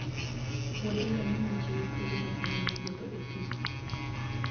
wuodh ngamia chiwo thuolo makende mar wuotho e thim